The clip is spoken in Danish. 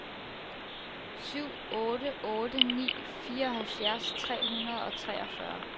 syv otte otte ni fireoghalvfjerds tre hundrede og treogfyrre